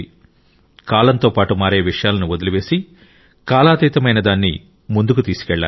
కాలంతో పాటు మారే విషయాలను వదిలివేసి కాలాతీతమైన దాన్ని ముందుకు తీసుకెళ్లాలి